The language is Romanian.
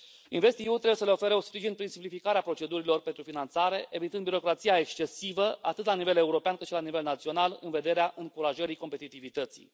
InvestEU trebuie să le ofere un sprijin prin simplificarea procedurilor pentru finanțare, evitând birocrația excesivă, atât la nivel european, cât și la nivel național, în vederea încurajării competitivității.